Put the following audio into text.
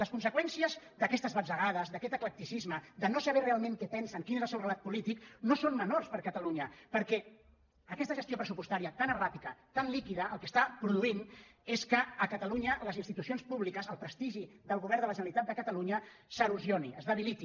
les conseqüències d’aquestes batzegades d’aquest eclecticisme de no saber realment què pensen quin és el seu relat polític no són menors per a catalunya perquè aquesta gestió pressupostària tan erràtica tan líquida el que està produint és que a catalunya les institucions públiques el prestigi del govern de la ge·neralitat de catalunya s’erosioni es debiliti